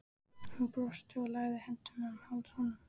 Hún brosti og lagði hendurnar um háls honum.